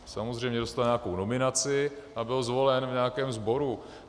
Samozřejmě dostal nějakou nominaci a byl zvolen v nějakém sboru.